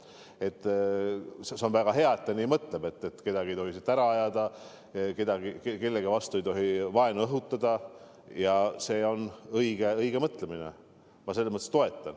See on väga hea, et ta nii mõtleb, et kedagi ei tohi siit ära ajada, kellegi vastu ei tohi vaenu õhutada – see on õige mõtlemine ja seda ma toetan.